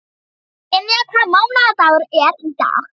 Dynja, hvaða mánaðardagur er í dag?